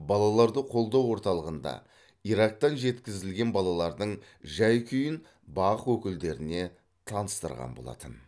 балаларды қолдау орталығында ирактан жеткізілген балалардың жай күйін бақ өкілдеріне таныстырған болатын